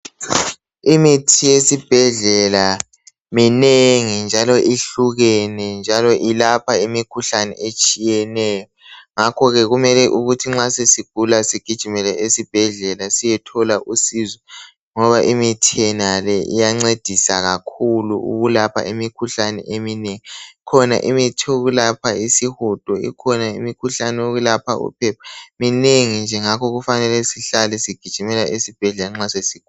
Imithi esibhedlela minengi njalo ihlukekene njalo ilapha imikhuhlane etshiyeneyo ngakhoke kumele ukuthi nxa sesigula sigijimele esibhedlela siyethola usizo ngoba imithi yonale iyancedisa kakhulu ukulapha imikhuhlane eminengi kukhona imithi yokulapha isihudo ikhona imithi yokulapha uphepha minengi nje ngakho kufanele sihlale sigijimela esibhedlela nxa sesigula